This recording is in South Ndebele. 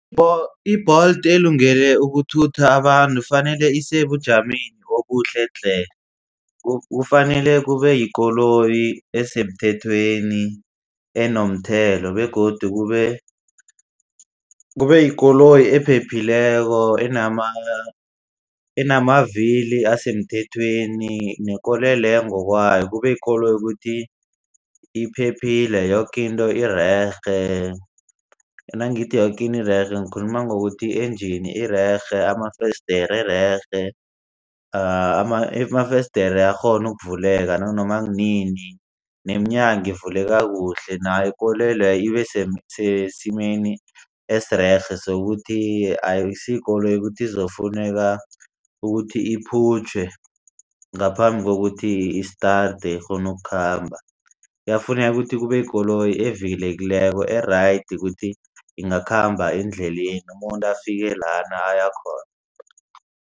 I-Bolt elungele ukuthutha abantu kufanele isebujameni obuhle tle. Kufanele kube yikoloyi esemthethweni enomthelo begodu kube yikoloyi ephephileko enamavili asemthethweni nekoloyi leyo ngokwayo kube yikoloyi ukuthi iphephile yoke into irerhe. Nangithi yoke into irerhe ngikhuluma ngokuthi i-engine irerhe, amafesidere irerhe, amafesidere ayakghona kuvuleka nanoma kunini neminyango ivuleke kuhle nayo ikoloyi leyo ibe sesimeni esirerhe sokuthi akusiyikoloyi ukuthi ezokufuneka ukuthi iphutjhwe ngaphambi kokuthi start ikghone ukukhamba kuyafuneka ukuthi kube yikoloyi evikelekileko e-right ukuthi ingakhamba endleleni umuntu afike lana ayakhona.